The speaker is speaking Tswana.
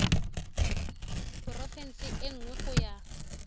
porofense e nngwe go ya